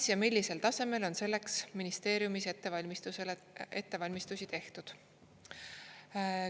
Kas ja millisel tasemel on selleks ministeeriumis ettevalmistusi tehtud?